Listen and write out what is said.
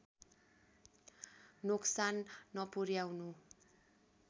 नोक्सान नपुर्‍याउनु